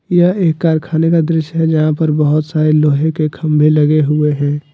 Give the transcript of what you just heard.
यह एक कारखाने का दृश्य है जहां पर बहुत सारे लोहे के खंभे लगे हुए हैं ।